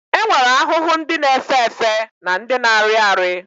E nwere ahụhụ ndị na-efe efe na ndị na-arị arị